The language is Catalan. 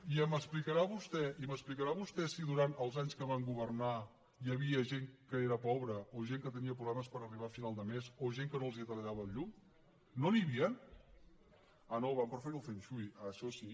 i m’explicarà vostè si durant els anys que van governar hi havia gent que era pobra o gent que tenia problemes per arribar a final de mes o gent que no els tallaven la llum no n’hi havien ah no van preferir el fengshui això sí